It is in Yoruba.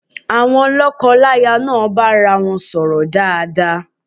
Àwon lọ́kọláya náà bá arawọn sọ̀rọ̀ dáadáa.